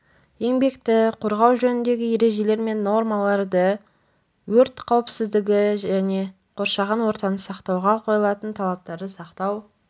еңбекті қорғау жөніндегі ережелер мен нормаларды өрт қауіпсіздігі және қоршаған ортаны сақтауға қойылатын талаптарды сақтау